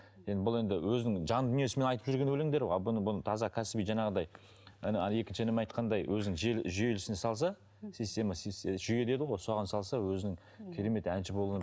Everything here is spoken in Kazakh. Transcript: енді бұл енді өзінің жан дүниесімен айтып жүрген өлеңдер ғой ал бұны бұны таза кәсіби жаңағыдай ана екінші інім айтқандай өзінің жүйелі жүйелі ісіне салса система жүйе дейді ғой соған салса өзінің керемет әнші